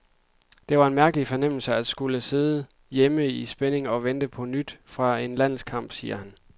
Det var en mærkelig fornemmelse at skulle sidde hjemme i spænding og vente på nyt fra en landskamp, siger han.